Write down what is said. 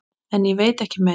En ég veit ekki meir.